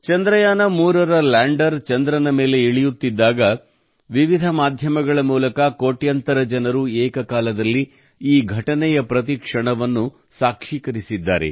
ಚಂದ್ರಯಾನ3 ರ ಲ್ಯಾಂಡರ್ ಚಂದ್ರನ ಮೇಲೆ ಇಳಿಯುತ್ತಿದ್ದಾಗ ವಿವಿಧ ಮಾಧ್ಯಮಗಳ ಮೂಲಕ ಕೋಟ್ಯಾಂತರ ಜನರು ಏಕಕಾಲದಲ್ಲಿ ಈ ಘಟನೆಯ ಪ್ರತಿ ಕ್ಷಣವನ್ನು ಸಾಕ್ಷೀಕರಿಸಿದ್ದಾರೆ